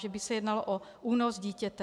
Že by se jednalo o únos dítěte.